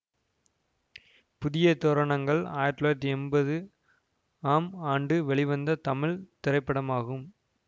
புதிய தோரணங்கள் ஆயிரத்தி தொள்ளாயிரத்தி எம்பது ஆம் ஆண்டு வெளிவந்த தமிழ் திரைப்படமாகும்